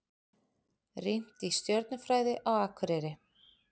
Rýnt í stjörnufræði á Akureyri